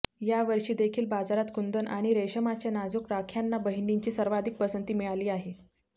या वर्षीदेखील बाजारात कुंदन आणि रेशमाच्या नाजूक राख्यांना बहिणींची सर्वाधिक पसंती मिळाली आहे